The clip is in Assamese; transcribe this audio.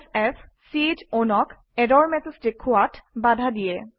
f চ own অক ইৰৰ মেচেজ দেখুওৱাত বাধা দিয়ে